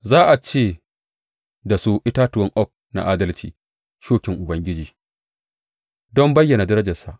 Za a ce da su itatuwan oak na adalci, shukin Ubangiji don bayyana darajarsa.